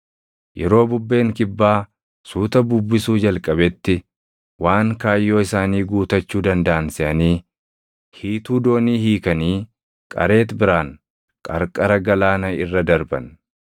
Yeroo bubbeen kibbaa suuta bubbisuu jalqabetti waan kaayyoo isaanii guutachuu dandaʼan seʼanii hiituu doonii hiikanii Qareexi biraan qarqara galaana irra darban.